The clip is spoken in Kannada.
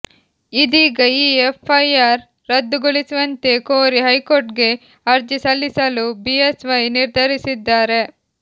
ಇದೀಗ ಈ ಎಫ್ಐಆರ್ ರದ್ದುಗೊಳಿಸುವಂತೆ ಕೋರಿ ಹೈಕೋರ್ಟ್ ಗೆ ಅರ್ಜಿ ಸಲ್ಲಿಸಲು ಬಿಎಸ್ವೈ ನಿರ್ಧರಿಸಿದ್ದಾರೆ